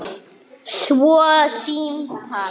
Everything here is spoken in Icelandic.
Svo símtal.